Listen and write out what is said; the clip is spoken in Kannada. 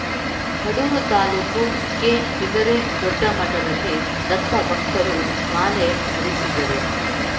ಕಡೂರು ತಾಲೂಕು ಕೆಬಿದರೆ ದೊಡ್ಡಮಠದಲ್ಲಿ ದತ್ತಭಕ್ತರು ಮಾಲೆ ಧರಿಸಿದರು